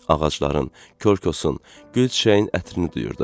Ağacların, körküsün, gül çiçəyin ətrini duyurdu.